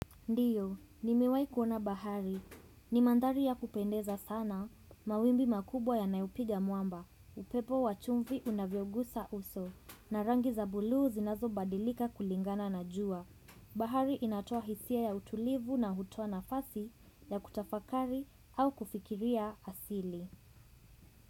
Ndiyo, nimewaji kuona bahari. Ni mandari ya kupendeza sana, mawimbi makubwa ya nayupiga muamba, upepo wachumvi unavyogusa uso, na rangi za buluu zinazo badilika kulingana na jua. Bahari inatoa hisia ya utulivu na hutoa nafasi ya kutafakari au kufikiria asili.